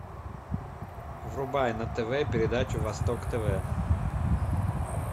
врубай на тв передачу восток тв